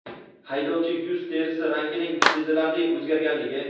haydovchi yuz terisi rangining sezilarli o‘zgarganligi.